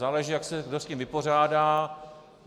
Záleží, jak se kdo s tím vypořádá.